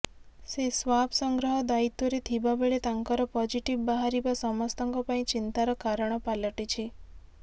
ସେ ସ୍ବାବ୍ ସଂଗ୍ରହ ଦାୟିତ୍ବରେ ଥିବାବେଳେ ତାଙ୍କର ପଜିଟିଭ୍ ବାହାରିବା ସମସ୍ତଙ୍କ ପାଇଁ ଚିନ୍ତାର କାରଣ ପାଲଟିଛି